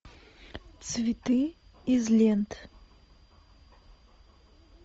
цветы из лент